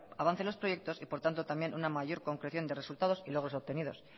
avance en los proyectos y por tanto también una mayor concreción de resultados y logros obtenidos